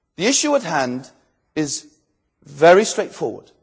The issue at hand is very straightforward.